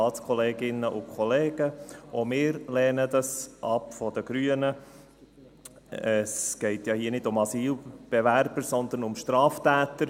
Es geht ja hier nicht um Asylbewerber, sondern um Straftäter.